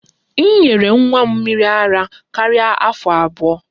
M nyere nwa m mmiri ara ruo afọ abụọ